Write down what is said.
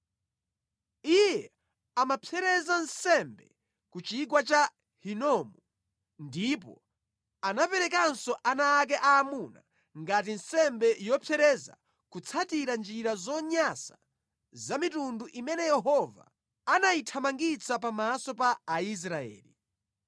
Iye amapsereza nsembe ku chigwa cha Hinomu, ndipo anaperekanso ana ake aamuna ngati nsembe yopsereza kutsatira njira zonyansa za mitundu imene Yehova anayithamangitsa pamaso pa Aisraeli.